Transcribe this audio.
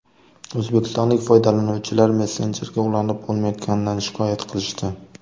O‘zbekistonlik foydalanuvchilar messenjerga ulanib bo‘lmayotganidan shikoyat qilishdi .